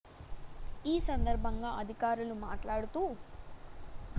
ఈ సందర్భంగా అధికారులు మాట్లాడుతూ